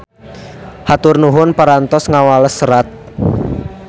Hatur nuhun parantos ngawales serat.